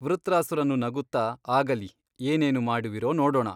ವೃತ್ರಾಸುರನು ನಗುತ್ತ ಆಗಲಿ ಏನೇನು ಮಾಡುವಿರೋ ನೋಡೋಣ.